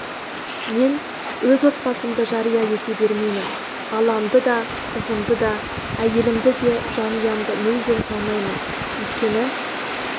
мен өз отбасымды жария ете бермеймін баламды да қызымды да әйелімді де жанұямды мүлдем салмаймын өйткені